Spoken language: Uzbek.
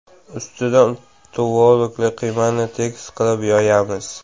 Ustidan tvorogli qiymani tekis qilib yoyamiz.